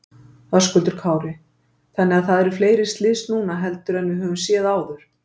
Höskuldur Kári: Þannig að það eru fleiri slys núna heldur en við höfum séð áður?